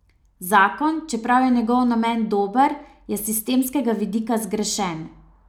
Zakon, čeprav je njegov namen dober, je s sistemskega vidika zgrešen.